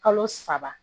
Kalo saba